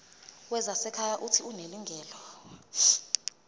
wezasekhaya uuthi unelungelo